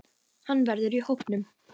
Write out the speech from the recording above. Hann verður í hópnum.